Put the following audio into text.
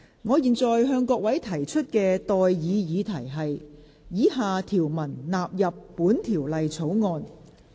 我現在向各位提出的待議議題是：以下條文納入本條例草案。